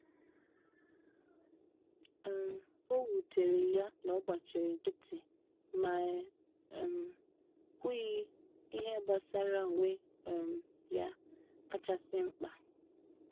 um Owutere ya na ogbachiri nkiti, ma e um kwughi ihe gbasara onwe um ya kacha si mpka.